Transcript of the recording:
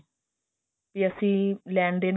ਕਿ ਅਸੀਂ ਲੈਣ ਦੇਣ